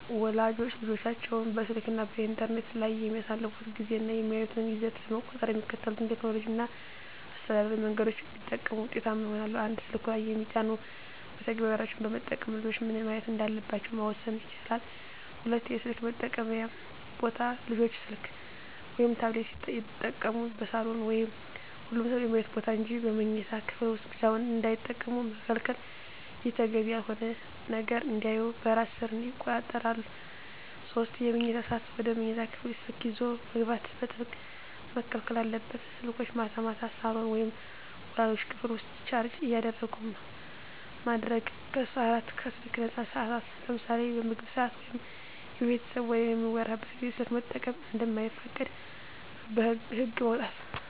ወላጆች ልጆቻቸው በስልክ እና በኢንተርኔት ላይ የሚያሳልፉትን ጊዜ እና የሚያዩትን ይዘት ለመቆጣጠር የሚከተሉትን ቴክኖሎጂያዊ እና አስተዳደራዊ መንገዶች ቢጠቀሙ ውጤታማ ይሆናል፦ 1)ስልኩ ላይ የሚጫኑ መተግበሪያዎችን በመጠቀም ልጆች ምን ማየት እንዳለባቸው መወሰን ይቻላል። 2)የስልክ መጠቀምያ ቦታ: ልጆች ስልክ ወይም ታብሌት ሲጠቀሙ በሳሎን ወይም ሁሉም ሰው በሚያይበት ቦታ እንጂ በመኝታ ክፍል ውስጥ ብቻቸውን እንዳይጠቀሙ መከልከል። ይህ ተገቢ ያልሆነ ነገር እንዳያዩ በራስ ሰር ይቆጣጠራል። 3)የመኝታ ሰዓት: ወደ መኝታ ክፍል ስልክ ይዞ መግባት በጥብቅ መከልከል አለበት። ስልኮች ማታ ማታ ሳሎን ወይም ወላጆች ክፍል ውስጥ ቻርጅ እንዲደረጉ ማድረግ። 4)ከስልክ ነፃ ሰዓታት: ለምሳሌ በምግብ ሰዓት ወይም የቤተሰብ ወሬ በሚወራበት ጊዜ ስልክ መጠቀም እንደማይፈቀድ ህግ ማውጣት።